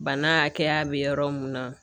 Bana hakɛya bɛ yɔrɔ mun na